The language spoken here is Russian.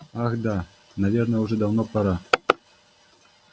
ах да наверное уже давно пора